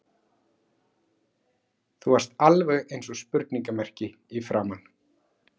Þú varst alveg eins og spurningarmerki í framan.